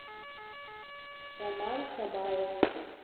роман шабаев